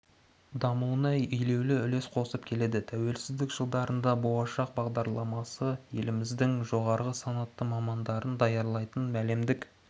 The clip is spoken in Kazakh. дамуына елеулі үлес қосып келеді тәуелсіздік жылдарында болашақ бағдарламасы елііміздің жоғары санатты мамандарын даярлайтын әлемдік